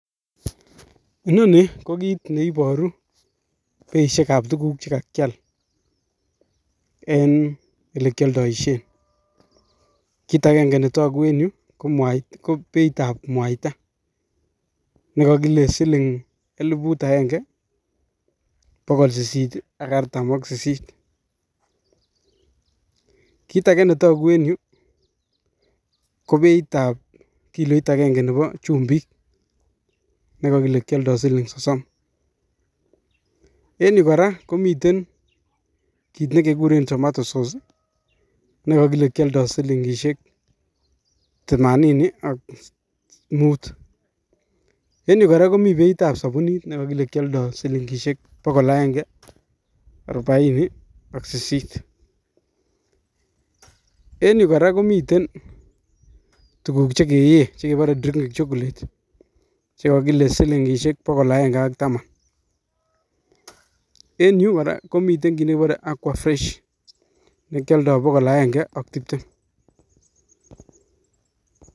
Inoni ko kit neiboruu beishiekab tuguuk che kakial en elekioldoishien. Kit agenge netokuu en yu ko beitab mwaita nekokile siling elifut agenge, bogol sisit ak artam ak sisiit. Kit age netoguu en yuh kobeitab kiloit agenge Nebo chumbiik nekokile kioldo siling sosom. En Yuh kora komiten tuguk chekekuren tomato SOS nekokile kioldo silingisiek themanini ak mut, miten kora beitab sobunit nekokile kioldo silingisiek bogol agenge ak arobaini ak sisit, en yu kora komiten tuguk Che keyee chekebore drinking chocolate chekokile silingisiek Bogol agenge ak Taman. Miten kora kit nekekureen aquafresh nekioldo bogol agenge ak tibtem.